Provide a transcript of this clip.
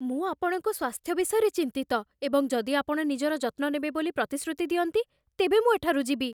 ମୁଁ ଆପଣଙ୍କ ସ୍ୱାସ୍ଥ୍ୟ ବିଷୟରେ ଚିନ୍ତିତ, ଏବଂ ଯଦି ଆପଣ ନିଜର ଯତ୍ନ ନେବେ ବୋଲି ପ୍ରତିଶ୍ରୁତି ଦିଅନ୍ତି ତେବେ ମୁଁ ଏଠାରୁ ଯିବି।